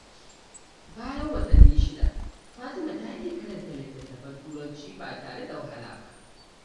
Bayan watanni shida, Fatima ta iya karanta littattafan Turanci ba tare da wahala ba.